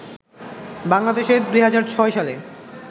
বাংলাদেশে ২০০৬ সালে